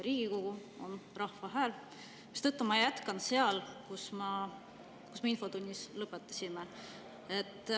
Riigikogu on rahva hääl, mistõttu ma jätkan sealt, kus me infotunnis lõpetasime.